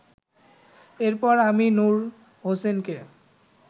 এরপর আমি নূর হোসেনকে